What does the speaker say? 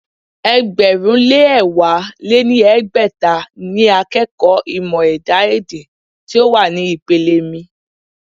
ẹgbẹ̀rún lé ẹ̀wá lé ní ẹgbẹ́ta ni akẹ́kọ̀ọ́ ìmọ̀ ẹ̀dá-èdè tí ó wà ní ìpele mi.